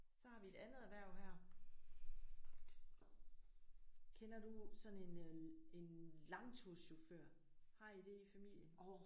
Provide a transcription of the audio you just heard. Så har vi et andet erhverv her. Kender du sådan en øh en langturschauffør? Har I det i familien?